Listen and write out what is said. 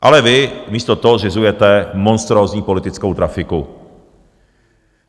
Ale vy místo toho zřizujete monstrózní politickou trafiku.